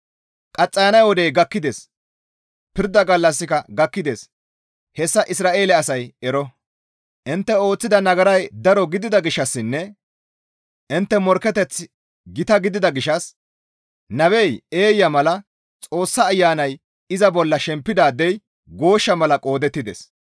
Qaxxayana wodey gakkides; Pirda gallassika gakkides; hessa Isra7eele asay ero. Intte ooththida nagaray daro gidida gishshassinne intte morkketeththi gita gidida gishshas nabey eeya mala, Xoossa Ayanay iza bolla shempidaadey gooshsha mala qoodettides.